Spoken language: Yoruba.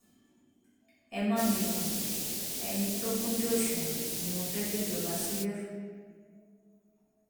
ẹ má mikàn ẹni tó kúnjú òṣùwọn ni mo fẹẹ gbéjọba sílẹ fún